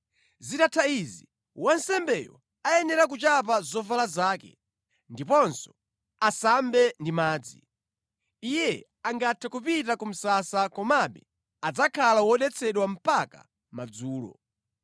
Zitatha izi, wansembeyo ayenera kuchapa zovala zake ndiponso asambe ndi madzi. Iye angathe kupita ku msasa, komabe adzakhala wodetsedwa mpaka madzulo.